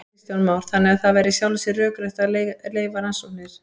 Kristján Már: Þannig að það væri í sjálfu sér rökrétt að leyfa rannsóknir?